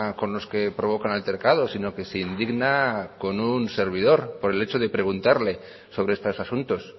con los que provocan altercados sino que se indigna con un servidor por el hecho de preguntarle sobre estos asuntos